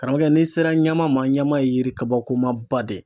Karamɔgɔkɛ n'i sera ɲama ma ɲama ye yiri kabakomaba de ye